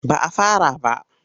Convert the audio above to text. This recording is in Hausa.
Ba a fara ba.